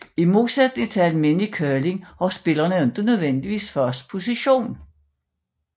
I modsætning til almindelig curling har spillerne ikke nødvendigvis fast position